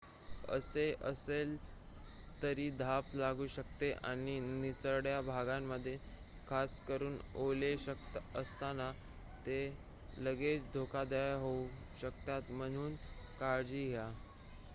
असे असले तरी धाप लागू शकते आणि निसरड्या भागांमध्ये खासकरून ओले असताना ते लगेचच धोकादायक होऊ शकतात म्हणून काळजी घ्या